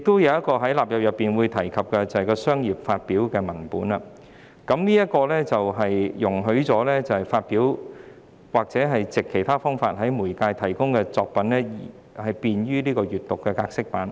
此外，《條例草案》亦提及，除"商業發表"的文本外，將會容許使用已發表或已藉其他方式在任何媒介公開提供的作品製作便於閱讀格式版。